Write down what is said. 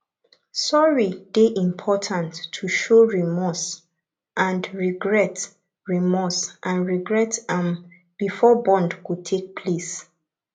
sorry dey important to show remorse and regret remorse and regret um before bond go take place